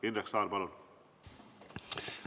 Indrek Saar, palun!